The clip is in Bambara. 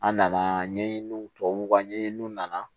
An nana ɲɛɲiniw tubabuw ka ɲɛɲininw nana